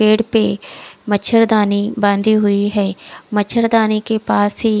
पेड़ पे मछरदानी बांधे हुए है मचरदानी के पास ही।